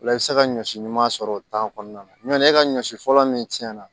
Ola i bɛ se ka ɲɔ si ɲuman sɔrɔ o kɔnɔna na ɲɔn tɛ e ka ɲɔ si fɔlɔ min cɛn na